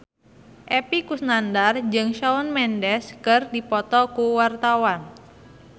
Epy Kusnandar jeung Shawn Mendes keur dipoto ku wartawan